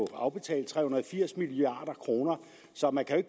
afbetalt tre hundrede og firs milliard kroner så man kan